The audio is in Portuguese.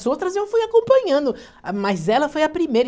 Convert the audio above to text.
As outras eu fui acompanhando, ah, mas ela foi a primeira.